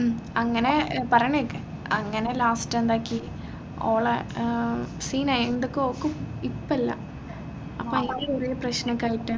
ഉം അങ്ങനെ ഏർ പറയണ കേൾക്ക് അങ്ങനെ last എന്താക്കി ഓളെ ഏർ ഓക്കും ഇപ്പല്ല അപ്പോ അയിന്റെ കുറെ പ്രശ്നോക്കെ ആയിട്ട്